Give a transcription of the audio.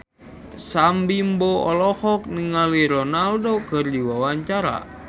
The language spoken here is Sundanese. Sam Bimbo olohok ningali Ronaldo keur diwawancara